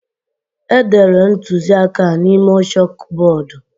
Edere ntuziaka a n'ime chọkbọọdu.